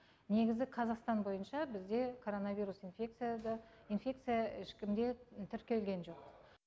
негізі қазақстан бойынша бізде коронавирус инфекция ешкімде тіркелген жоқ